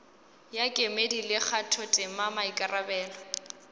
ya kemedi le kgathotema maikarabelo